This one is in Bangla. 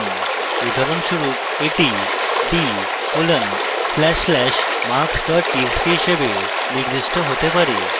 উদাহরণস্বরূপ এটি d: \\marks txt হিসাবে নির্দিষ্ট হতে পারে